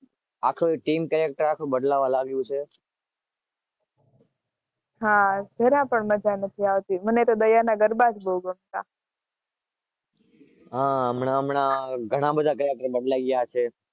આખું team character બદલાય કરે